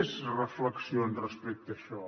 més reflexions respecte a això